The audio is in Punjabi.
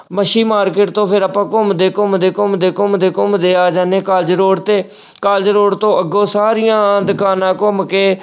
ਮੱਛੀ market ਤੋਂ ਫਿਰ ਆਪਾਂ ਘੁੰਮਦੇ-ਘੁੰਮਦੇ, ਘੁੰਮਦੇ-ਘੁੰਮਦੇ, ਘੁੰਮਦੇ ਆ ਜਾਨੇ college road ਤੇ college road ਤੋਂ ਅੱਗੋਂ ਸਾਰੀਆਂ ਦੁਕਾਨਾਂ ਘੁੰਮ ਕੇ